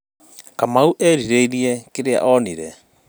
kamau erirĩĩrie kĩrĩa onire